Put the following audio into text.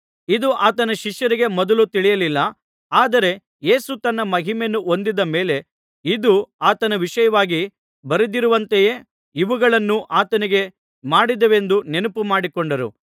ಇದು ಆತನ ಶಿಷ್ಯರಿಗೆ ಮೊದಲು ತಿಳಿಯಲಿಲ್ಲ ಆದರೆ ಯೇಸು ತನ್ನ ಮಹಿಮೆಯನ್ನು ಹೊಂದಿದ ಮೇಲೆ ಇದು ಆತನ ವಿಷಯವಾಗಿ ಬರೆದಿರುವಂತೆಯೇ ಇವುಗಳನ್ನು ಆತನಿಗೆ ಮಾಡಿದೆವೆಂದೂ ನೆನಪು ಮಾಡಿಕೊಂಡರು